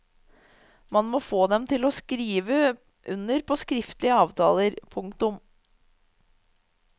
Man må få dem til å skrive under på skriftlige avtaler. punktum